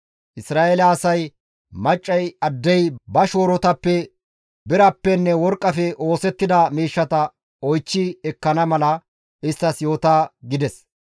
Isra7eele asay maccay addey ba shoorotappe birappenne worqqafe oosettida miishshata oychchi ekkana mala isttas yoota» gides.